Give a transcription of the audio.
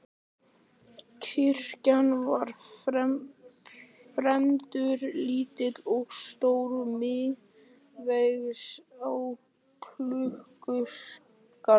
Kirkjan var fremur lítil og stóð miðsvæðis í klausturgarðinum.